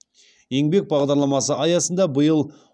еңбек бағдарламасы аясында биыл